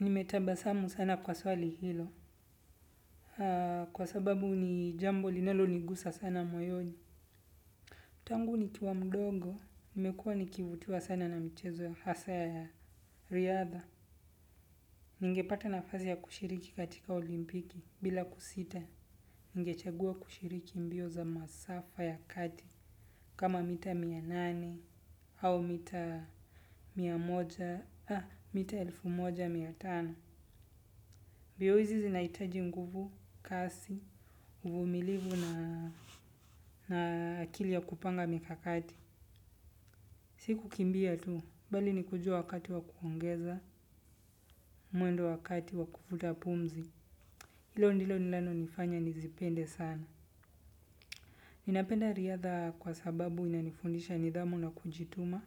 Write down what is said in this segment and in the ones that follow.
Nimetabasamu sana kwa swali hilo. Kwa sababu ni jambo linalonigusa sana moyoni. Tangu nikiwa mdogo. Nimekuwa nikivutiwa sana na mchezo, hasaa ya riadha. Ningepata nafazi ya kushiriki katika olimpiki bila kusita. Ningechagua kushiriki mbio za masafa ya kati. Kama mita mia nane au mita mia moja. Mita elfu moja mia tano. Vyeo hizi zinaitaji nguvu, kasi, uvumilivu na akili ya kupanga mikakati. Si kukimbia tu, bali ni kujua wakati wa kuongeza, mwendo wakati wa kufuta pumzi. Ilo ndilo nilanonifanya nizipende sana. Ninapenda riadha kwa sababu inanifundisha nidhamu na kujituma.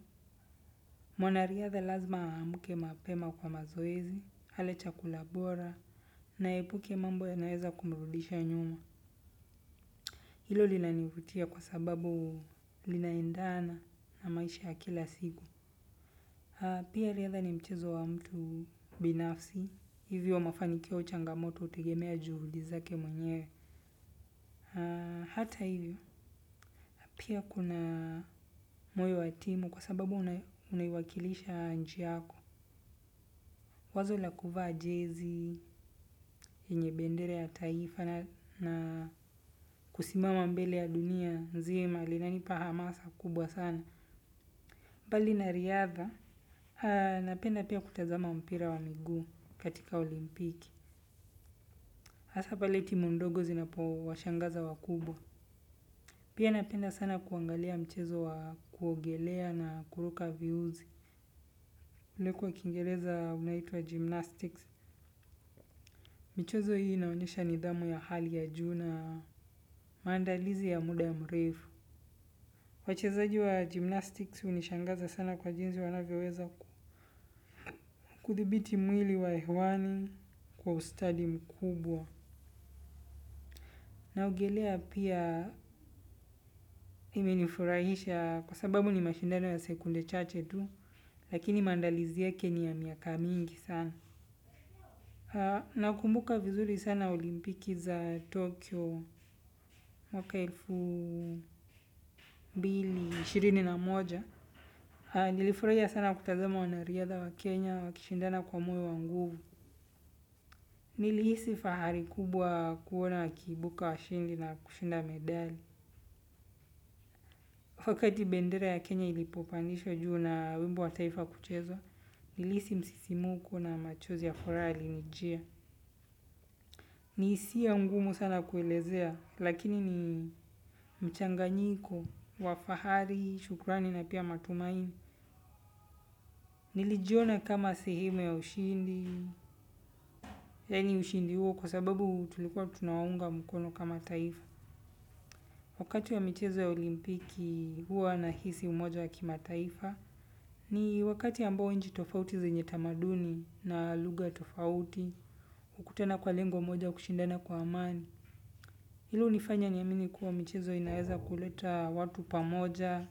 Mwanariadha lazima amke mapema kwa mazoezi, ale chakula bora, na aepuke mambo yanaeza kumrudisha nyuma. Hilo linanivutia kwa sababu linaendana na maisha ya kila siku. Pia riadha ni mchezo wa mtu binafsi. Hivyo mafanikio au changamoto utegemea juhudi zake mwenyewe. Hata hivyo. Pia kuna moyo wa timu kwa sababu unaiwakilisha nchi yako. Wazo la kuvaa jezi, yenye bendera ya taifa na kusimama mbele ya dunia nzima. Linanipa hamasa kubwa sana. Mbali na riadha, napenda pia kutazama mpira wa miguu katika olimpiki. Hasaa pale timu ndogo zinapowashangaza wakubwa. Pia napenda sana kuangalia mchezo wa kuogelea na kuruka viuzi. Ule kwa kingereza unaitwa gymnastics. Michezo hii inaonyesha nidhamu ya hali ya juu na, maandalizi ya muda mrefu. Wachezaji wa gymnastics unishangaza sana kwa jinsi wanavyoweza kuthibiti mwili wa hewani kwa ustadi mkubwa. Naogelea pia imenifurahisha kwa sababu ni mashindano ya sekunde chache tu lakini mandalizi yake ni ya miaka mingi sana. Nakumbuka vizuri sana olimpiki za Tokyo mwaka elfu mbili, shirini na moja. Nilifurahia sana kutazama wanariadha wa Kenya wakishindana kwa moyo wa nguvu. Nilihisi fahari kubwa kuona wakiibuka washindi na kushinda medali. Wakati bendera ya Kenya ilipopandishwa juu na wimbo wa taifa kuchezwa, nilihisi msisimuko na machozi ya furaha yalinijia. Ni isiya ngumu sana kuelezea, lakini ni mchanganyiko, wa fahari, shukrani na pia matumaini. Nilijiona kama sehemu ya ushindi, yani ushindi huo kwa sababu tulikuwa tunaunga mkono kama taifa. Wakati wa michezo ya olimpiki huwa nahisi umoja wa kimataifa. Ni wakati ambao nchi tofauti zenye tamaduni na lugha tofauti. Ukutana kwa lengo moja kushindana kwa amani. Ilo unifanya niamini kuwa michezo inaeza kuleta watu pamoja.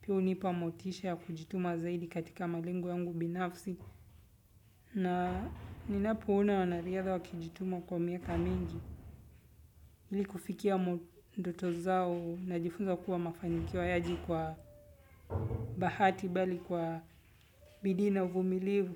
Pia unipa motisha ya kujituma zaidi katika malengo yangu binafsi. Na ninapoona wanariadha wakijituma kwa miaka mingi. Ili kufikia ndoto zao najifunza kuwa mafanikio hayaji kwa bahati bali kwa bidii na uvumilivu.